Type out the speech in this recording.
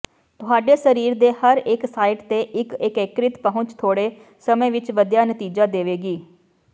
ਤੁਹਾਡੇ ਸਰੀਰ ਦੇ ਹਰੇਕ ਸਾਈਟ ਤੇ ਇੱਕ ਏਕੀਕ੍ਰਿਤ ਪਹੁੰਚ ਥੋੜ੍ਹੇ ਸਮੇਂ ਵਿੱਚ ਵਧੀਆ ਨਤੀਜੇ ਦੇਵੇਗੀ